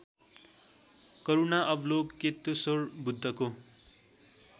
करूणा अवलोकेतेश्वरको बुद्धको